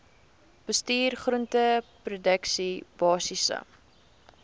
bestuur groenteproduksie basiese